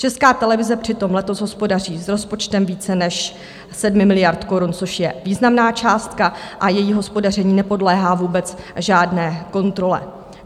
Česká televize přitom letos hospodaří s rozpočtem více než 7 miliard korun, což je významná částka, a její hospodaření nepodléhá vůbec žádné kontrole.